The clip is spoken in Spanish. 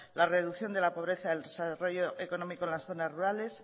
la reducción de la pobreza el desarrollo económico en las zonas rurales